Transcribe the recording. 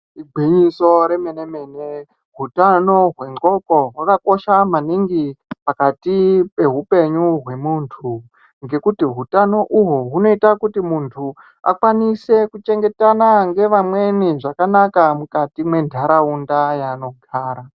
Igwinyiso remene mene utano hwendxondo hwakakosha maningi pakati pehupenyu hwemuntu ngekuti utano uhwu hunoita kuti muntu akone kuchengetana neamweni zvakanaka mukati mwentaraunda mwaanogara.